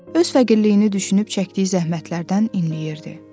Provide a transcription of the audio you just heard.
Öz fəqirliyini düşünüb çəkdiyi zəhmətlərdən inləyirdi.